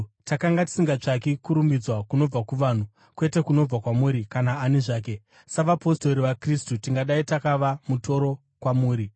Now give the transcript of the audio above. Takanga tisingatsvaki kurumbidzwa kunobva kuvanhu, kwete kunobva kwamuri kana ani zvake. Savapostori vaKristu tingadai takava mutoro kwamuri,